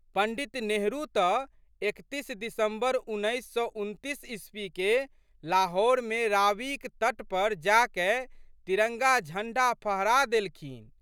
पंडित नेहरू तऽ एकतीस दिसम्बर उन्नैस सए उनतीस ईस्वी के लाहौरमे रावीक तट पर जाकए तिरंगा झंडा फहरा देलखिन।